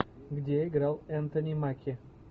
где играл энтони маки